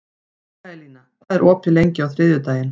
Mikaelína, hvað er opið lengi á þriðjudaginn?